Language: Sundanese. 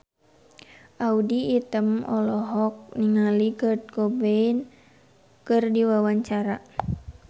Audy Item olohok ningali Kurt Cobain keur diwawancara